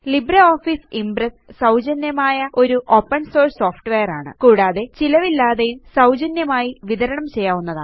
LibreOffice Impress സൌജന്യമായ ഒരു open source software ആണ് കൂടാതെ ചിലവില്ലാത്തതും സൌജന്യമായി വിതരണം ചെയ്യാവുന്നതുമാണ്